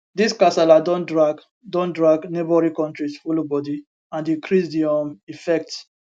dis kasala don drag don drag neighbouring kontris follow bodi and increase di um effects